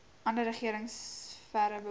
ander regeringsfere behoort